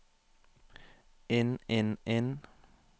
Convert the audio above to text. inn inn inn